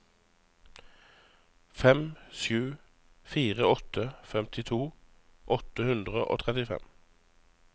fem sju fire åtte femtito åtte hundre og trettifem